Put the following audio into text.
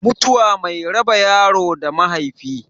Mutuwa mai raba yaro da mahaifi